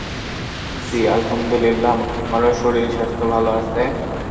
জি আহমুদুলিল্লাহ আমারও শরীর সাস্থ ভালো আছে